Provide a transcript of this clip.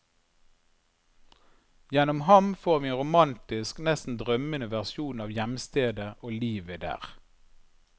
Gjennom ham får vi en romantisk, nesten drømmende versjon av hjemstedet og livet der.